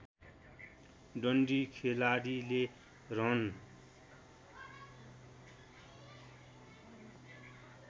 डन्डी खेलाडीले रन